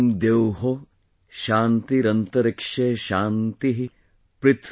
Om Dyau ShantiRantarikshaGwamShantih,